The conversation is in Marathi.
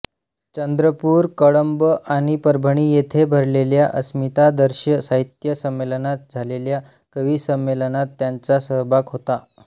चंद्रपूर कळंब आणि परभणी येथे भरलेल्या अस्मितादर्श साहित्य संमेलनात झालेल्या कविसंमेलनात त्यांचा सहभाग होता